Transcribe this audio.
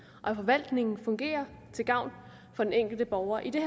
og at forvaltningen fungerer til gavn for den enkelte borger i det